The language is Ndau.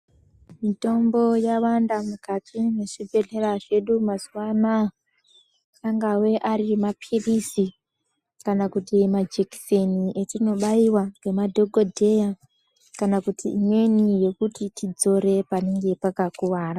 Mitombo yawanda mukati mezvi bhedhlera zvedu mazuva anaya angave ari mapirizi kana kuti majekiseni etino bayiwa nema dhokoteya kana kuti imweni yekuti tidzore panenge paka kuvara.